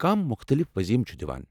کم مُختلف وضیفہٕ چُھ دِوان؟